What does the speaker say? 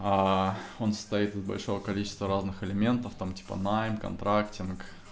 он состоит из большого количества разных элементов там типа найм контрактинг